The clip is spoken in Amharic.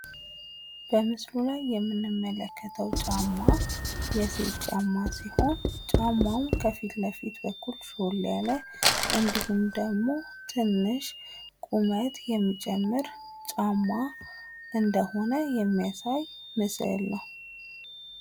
በምስሉ ላይ የምንመለከተው ጫማ የሴት ጫማ ሲሆን ጫማው ከፊትለፊት በኩል ሾል ያለ፤ እንዲሁም ትንሽ ቁመት የሚጨምር ጫማ እንደሆነ የሚያሳይ ምስል ነው።